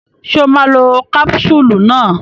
Ṣé o máa lo kápúsúlù náà.